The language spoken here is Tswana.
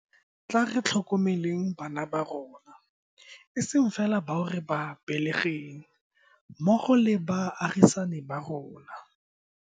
Tla re tlhokomeleng bana ba rona, e seng fela bao re ba belegeng, mmogo le ba baagisani ba rona.